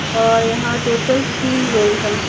और यहाँ टोटल तीन लोग हैं।